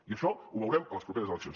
i això ho veurem a les properes eleccions